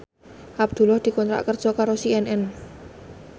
Abdullah dikontrak kerja karo CNN